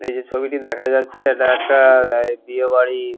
এই যে ছবিটি দেখা যাচ্ছে এটা হচ্ছে একটা বিয়ে বাড়ি--